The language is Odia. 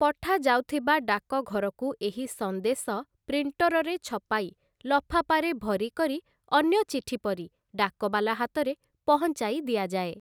ପଠାଯାଉଥିବା ଡାକଘରକୁ ଏହି ସଂଦେଶ ପ୍ରିଣ୍ଟରରେ ଛପାଇ ଲଫାପାରେ ଭରିକରି ଅନ୍ୟ ଚିଠିପରି ଡାକବାଲା ହାତରେ ପହଞ୍ଚାଇ ଦିଆଯାଏ ।